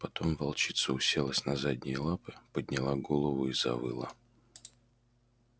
потом волчица уселась на задние лапы подняла голову и завыла